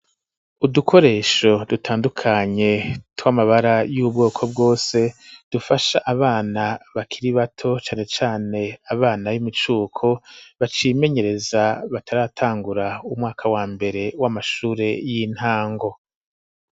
udukoresho dutandukanye twamabara y'ubwoko bwose dufasha abana bakiri bato cane cane abana b,imicuko bacimenyereza bataratangura umwaka wa mbere w'amashure y'intango.